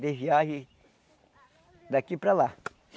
De viagem daqui para lá.